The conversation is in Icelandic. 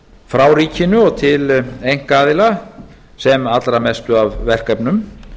frá ríkinu og til einkaaðila sem allra mestu af verkefnum